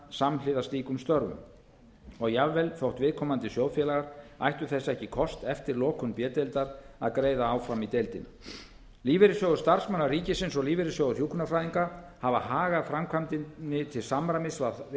samhliða slíkum störfum og jafnvel þótt viðkomandi sjóðfélagar ættu þess ekki kost eftir lokun b deildar að greiða áfram í deildina lífeyrissjóður starfsmanna ríkisins og lífeyrissjóður hjúkrunarfræðinga hafa hagað framkvæmdinni til samræmis við